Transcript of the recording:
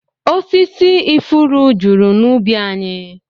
Osisi ifuru juru n'ubi anyị